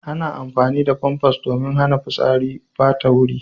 Ana amfani da famfas domin hana fitsari ya ɓata wuri.